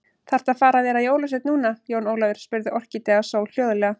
Þaðrftu að fara að vera jólasveinn núna, Jón Ólafur, spurði Orkídea Sól hljóðlega.